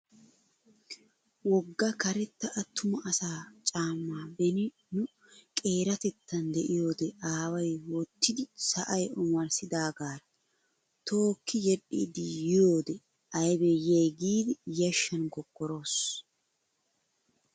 Wogga karetta attuma asaa caamma beni nu qeeratettan de"iyoodee aaway wottidi sa"ay omarssidaagaaraa tookki yedhdhiiddi yiyoodee aybee yiyay giidi yashshan kokkoros.